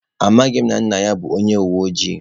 Amaghị m na nna ya bụ onye uwe ojii.